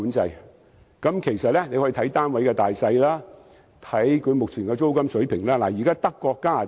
政府其實可以視乎單位的大小，以及目前的租金水平實施租金管制。